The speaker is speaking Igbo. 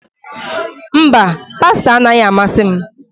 Mba, pasta anaghị amasị m